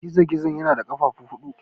Gizo-gizo yana da ƙafafu huɗu.